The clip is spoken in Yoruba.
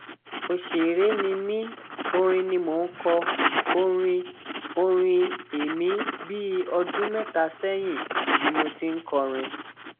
ọsẹrẹ ni mí orin ni mò ń kọ orin orin èmi bíi ọdún mẹta sẹyìn ni mo ti ń kọrin